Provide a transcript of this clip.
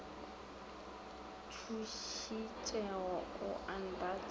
thušitšego o a nrata ka